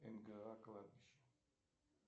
нга кладбище